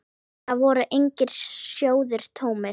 Þar voru engir sjóðir tómir.